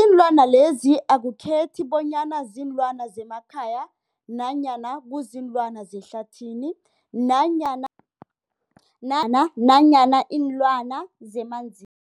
Iinlwana lezi akukhethi bonyana ziinlwana zemakhaya nanyana kuziinlwana zehlathini nanyana na nanyana iinlwana zemanzini.